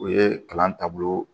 O ye kalan taabolo